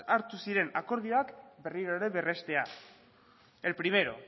hartu ziren akordioak berriro ere berrestea el primero